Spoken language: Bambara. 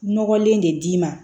Nɔgɔlen de d'i ma